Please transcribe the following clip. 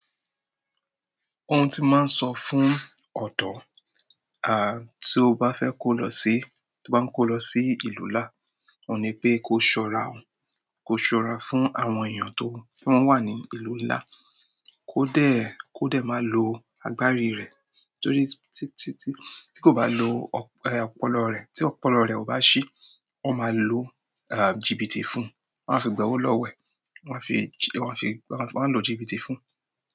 Óún ti máa ń sọ fún ọ̀dọ̀, à, tí ó bá fẹ́ kó lọ sí, tí ó bá ń kó lọ sí ìlú ńlá, oun ní pé kó ṣọ́ra, kó ṣọ́ra fún àwọn èèyàn tó ń wà ní ìlú ńlá, kó dẹ̀, kó dẹ̀ máa lo agbárí rẹ̀. Torí t tt tí kò bá lo ọpọlọ rẹ̀, tí ọ̀pọ̀lọpọ̀ rẹ̀ ò bá ṣi, wọ́n máa lo jìbìtì fún un. Wọn a fi gbẹ́ owó lọ wẹ̀, wọ́n a fi, wọ́n a fi, wọ́n a lo jìbìtì fún un.